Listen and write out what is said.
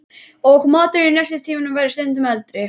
Og maturinn í nestistímunum væri stundum eldri.